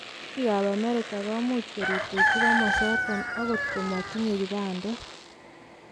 Biik ab america komuch korutechu komosoton agot komotinye kibandet.